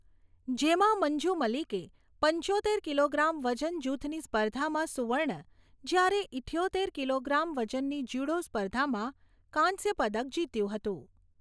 જેમાં મંજુ મલિકે પંચોતેર કિલોગ્રામ વજન જૂથની સ્પર્ધામાં સુવર્ણ જ્યારે ઈઠ્યોતેર કિલોગ્રામ વજનની જ્યુડો સ્પર્ધામાં કાંસ્ય પદક જીત્યું હતું.